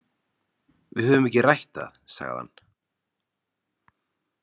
Við höfum ekki rætt það, sagði hann.